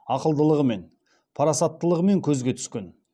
ақылдылығымен парасаттылығымен көзге түскен